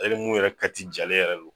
I be mun yɛrɛ kati jalen yɛrɛ de don